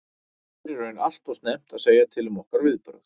Það er í raun allt og snemmt að segja til um okkar viðbrögð.